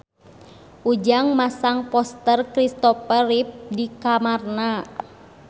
Ujang masang poster Kristopher Reeve di kamarna